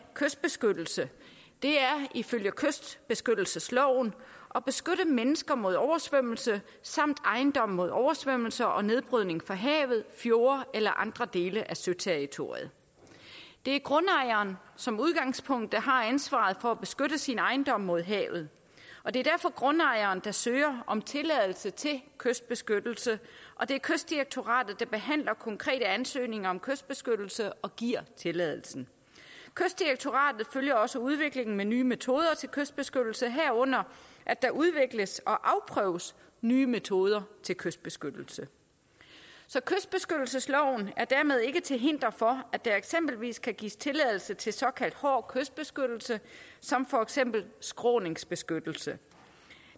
kystbeskyttelse er ifølge kystbeskyttelsesloven at beskytte mennesker mod oversvømmelse samt ejendomme mod oversvømmelser og nedbrydning fra havet fjorde eller andre dele af søterritoriet det er som udgangspunkt grundejeren der har ansvaret for at beskytte sin ejendom mod havet og det er derfor grundejeren der søger om tilladelse til kystbeskyttelse og det er kystdirektoratet der behandler konkrete ansøgninger om kystbeskyttelse og giver tilladelsen kystdirektoratet følger også udviklingen med nye metoder til kystbeskyttelse herunder at der udvikles og afprøves nye metoder til kystbeskyttelse så kystbeskyttelsesloven er dermed ikke til hinder for at der eksempelvis kan gives tilladelse til såkaldt hård kystbeskyttelse som for eksempel skråningsbeskyttelse